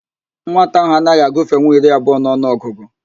Nwata ahụ anaghị agụfenwu iri abụọ n'ọnụ ọgụgụ